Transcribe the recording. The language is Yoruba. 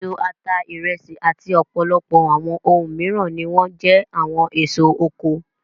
Iṣu, ata, ìrẹsì àti ọ̀pọ̀lọpọ̀ àwọn ohun mìíràn ni wọ́n jẹ́ àwọn èso oko.